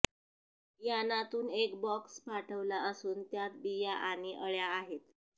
यानातून एक बॉक्स पाठवला असून त्यात बिया आणि अळ्या आहेत